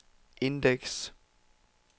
indeks